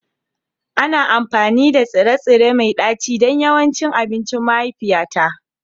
Ana amfani da tsire-tsire mai ɗaci don yawancin abincin mahaifiyata